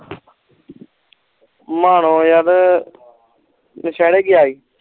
ਮਾਨੋ ਯਾਰ ਦੁਸਹਿਰੀ ਕਿ ਈ